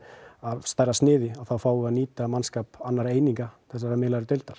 af stærra sniði þá fáum við að nýta mannskap annara eininga þessar miðlægu